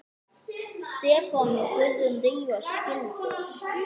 Stefán og Guðrún Drífa skildu.